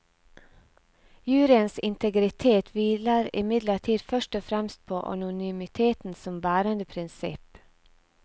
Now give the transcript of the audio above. Juryens integritet hviler imidlertid først og fremst på anonymiteten som bærende prinsipp.